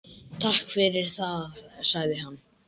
Takk fyrir það- sagði hann.